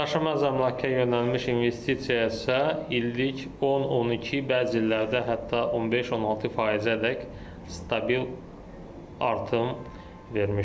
Daşınmaz əmlaka yönəlmiş investisiyadırsa illik 10-12, bəzi illərdə hətta 15-16%-ədək stabil artım vermişdir.